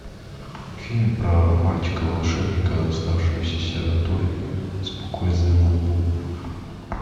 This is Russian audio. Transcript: фильм про мальчика волшебника оставшегося сиротой с буквой з на лбу